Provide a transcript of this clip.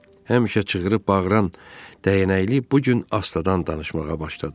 Həmişə çığırıb bağıran dəyənəkli bu gün astadan danışmağa başladı.